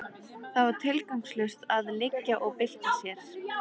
Það var tilgangslaust að liggja og bylta sér.